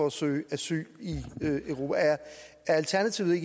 at søge asyl i europa er alternativet